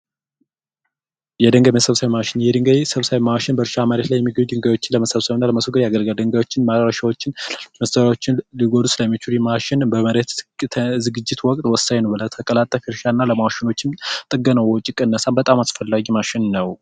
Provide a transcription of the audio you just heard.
የድንገት መሰብሰቢያ ማሽን የድንጋይ ሰብሳቢ ማሽን ለመሰብሰብ ያገልገልጋዮችን በመሬት ትዝግጅት ወቅት እና ለማሸኖችን ጥገና በጣም አስፈላጊ ማሸነፍ ነው